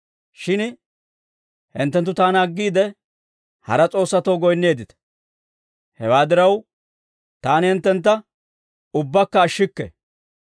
Shin hinttenttu taana aggiide, hara s'oossatoo goynneeddita. Hewaa diraw, taani hinttentta ubbaakka ashshikke.